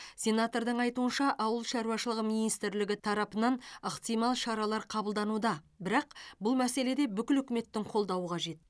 сенатордың айтуынша ауыл шаруашылығы министрлігі тарапынан ықтимал шаралар қабылдануда бірақ бұл мәселеде бүкіл үкіметтің қолдауы қажет